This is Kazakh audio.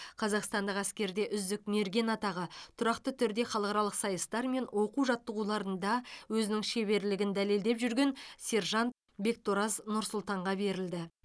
қазақстандық әскерде үздік мерген атағы тұрақты түрде халықаралық сайыстар мен оқу жаттығуларында өзінің шеберлегін дәлелдеп жүрген сержант бектораз нұрсұлтанға берілді